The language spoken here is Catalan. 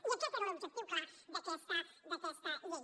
i aquest era l’objectiu clar d’aquesta llei